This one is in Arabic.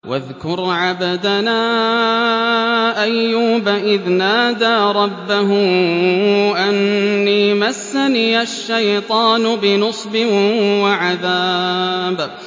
وَاذْكُرْ عَبْدَنَا أَيُّوبَ إِذْ نَادَىٰ رَبَّهُ أَنِّي مَسَّنِيَ الشَّيْطَانُ بِنُصْبٍ وَعَذَابٍ